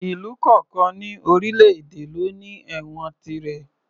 Ìlú kọ̀ọ̀kan ní orílè èdè ló ní ẹ̀wọ̀n tirẹ̀